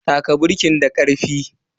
Taka birkin da karfi.